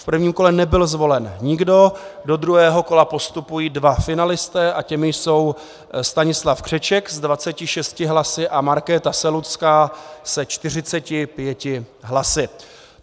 V prvním kole nebyl zvolen nikdo, do druhého kola postupují dva finalisté a těmi jsou Stanislav Křeček s 26 hlasy a Markéta Selucká se 45 hlasy.